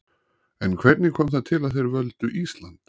En hvernig kom það til að þeir völdu Ísland?